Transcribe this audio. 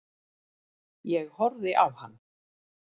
Ég horfði á hann.